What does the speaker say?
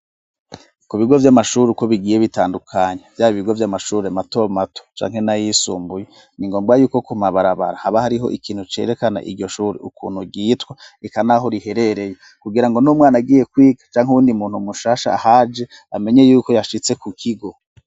Ku bigo vy'amashuri uko bigiye bitandukanye vyaba ibigo by'amashuri mato mato canke nay' isumbuye, ni ngombwa yuko ku mabarabara haba hariho ikintu cerekana iryo shuri ukuntu ryitwa, eka naho riherereye kugirango n'umwana agiye kwiga canke uwundi muntu mushasha ahaje amenye yuko yashitse ku kigo.